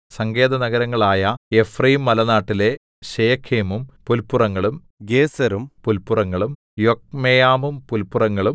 സങ്കേതനഗരങ്ങളായ എഫ്രയീംമലനാട്ടിലെ ശെഖേമും പുല്പുറങ്ങളും ഗേസെരും പുല്പുറങ്ങളും യൊക്മെയാമും പുല്പുറങ്ങളും